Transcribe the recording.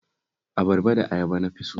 Abarba da ayaba na fi so